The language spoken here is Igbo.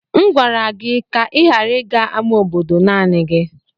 M gwara gị ka ị ghara ịga ama obodo naanị gi.